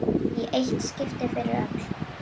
Í eitt skipti fyrir öll!